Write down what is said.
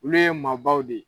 Olu ye maa baw de ye.